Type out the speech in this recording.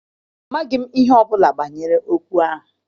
Amaghị m ihe ọbụla banyere okwu ahụ.